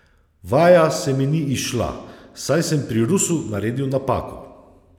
Vaja se mi ni izšla, saj sem pri rusu naredil napako.